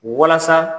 Walasa